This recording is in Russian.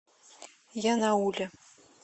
янауле